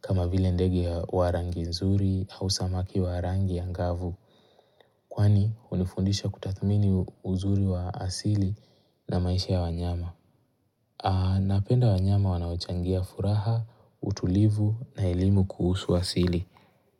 kama vile ndege ya wa rangi nzuri au samaki wa rangi ya angavu kwani hunifundisha kutathamini uzuri wa asili na maisha ya wanyama. Napenda wanyama wanaochangia furaha, utulivu na elimu kuhusu asili.